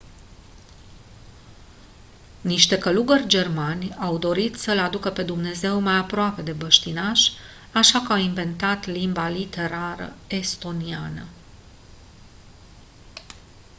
niște călugări germani au dorit să îl aducă pe dumnezeu mai aproape de băștinași așa că au inventat limba literală estoniană